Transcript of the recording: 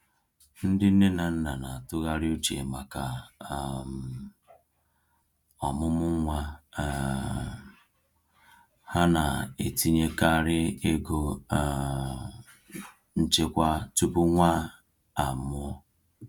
Ndị nne na nna na-atụgharị uche maka um ọmụmụ nwa um ha na-etinyekarị ego um nchekwa tupu nwa a mụọ.